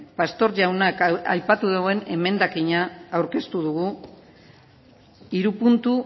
pastor jaunak aipatu duen emendakina aurkeztu dugu hiru puntu